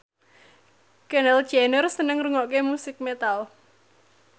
Kendall Jenner seneng ngrungokne musik metal